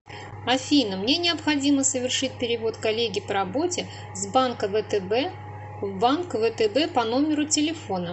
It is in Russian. афина мне необходимо совершить перевод коллеге по работе с банка втб в банк втб по номеру телефона